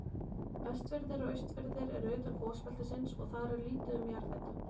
Vestfirðir og Austfirðir eru utan gosbeltisins og þar er lítið um jarðhita.